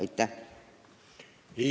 Aitäh!